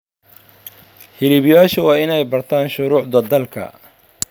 Hiliblayaashu waa inay bartaan shuruucda dalka.